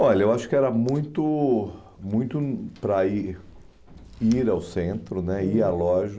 Olha, eu acho que era muito muito para ir ir ao centro né , ir à loja,